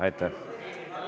Aitäh!